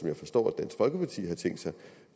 jeg forstår